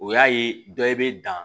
O y'a ye dɔ bɛ dan